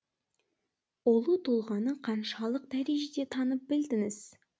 ұлы тұлғаны қаншалық дәрежеде танып білдіңіз